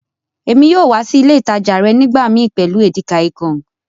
Èmi yóò wa si ilé ìtàjà rẹ nígbàmii pẹ́lu Edikaikong.